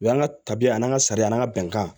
O y'an ka tabiya an' ka sariya an ka bɛnkan ye